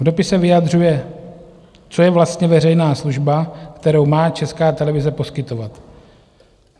V dopise vyjadřuje, co je vlastně veřejná služba, kterou má Česká televize poskytovat.